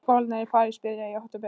Skólarnir í París byrja í október.